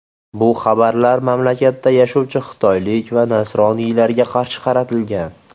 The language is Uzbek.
Bu xabarlar mamlakatda yashovchi xitoylik va nasroniylarga qarshi qaratilgan.